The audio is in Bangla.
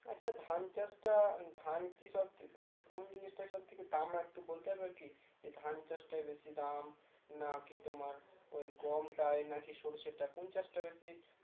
আচ্ছা ধান চাষটা ধান কি সব মানে কোন জিনিসটা সব থেকে দাম একটু বলতে পারবে আর কি ধান চাষটা বেশি দাম নাকি তোমার ওই গম টায় নাকি সর্ষেটা কোন চাষটা বেশি